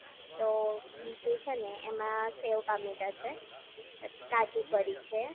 તો બીજું છે ને એમાં સેવ ટામેટા છે પછી કાજુ કરી છે